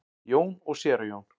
Jón og séra Jón